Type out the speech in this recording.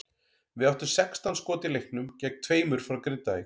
Við áttum sextán skot í leiknum gegn tveimur frá Grindavík.